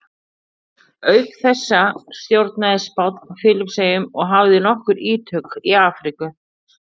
auk þessa stjórnaði spánn filippseyjum og hafði nokkur ítök í afríku